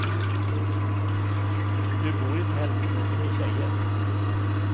Du bor i tält, med tre tjejer.